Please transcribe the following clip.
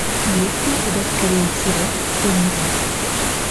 есть ли у тебя скорее всего ты умрешь